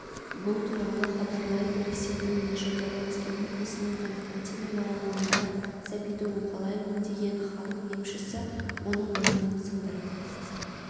бұл туралы хабарлайды ресейдің нижегородской облысының константиново ауылында сәбиді уқалаймын деген халық емшісі оның мойнын сындырып